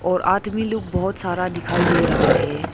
और आदमी लोग बहोत सारा दिखाई दे रहा है।